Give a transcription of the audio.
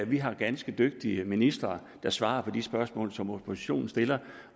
vi har ganske dygtige ministre der svarer på de spørgsmål som oppositionen stiller